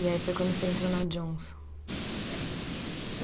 E aí foi quando você entrou na Johnson? É